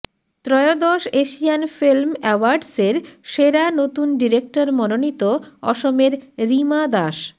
ত্ৰয়োদশ Asian film অ্যাওয়ার্ডসের সেরা নতুন ডিরেক্টর মনোনীত অসমের রিমা দাস